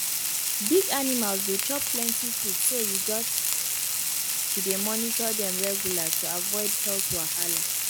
big animals dey chop plenty food so you gats to dey monitor dem regular to avoid health wahala